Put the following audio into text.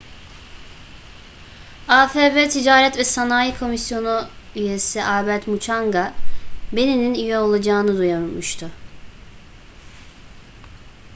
afb ticaret ve sanayi komisyonu üyesi albert muchanga benin'in üye olacağını duyurmuştu